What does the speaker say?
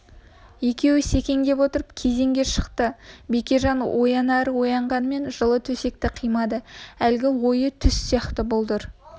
екеуі секеңдеп отырып кезеңге шықты бекежан оянары оянғанымен жылы төсекті қимады әлгі ойы түс сияқты бұлдыр